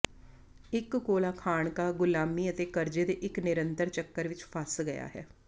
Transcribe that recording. ਇੱਕ ਕੋਲਾ ਖਾਣਕਾ ਗ਼ੁਲਾਮੀ ਅਤੇ ਕਰਜ਼ੇ ਦੇ ਇੱਕ ਨਿਰੰਤਰ ਚੱਕਰ ਵਿੱਚ ਫਸ ਗਿਆ ਹੈ